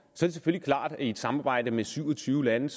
selvfølgelig klart at i et samarbejde med syv og tyve lande